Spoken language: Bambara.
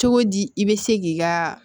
Cogo di i bɛ se k'i ka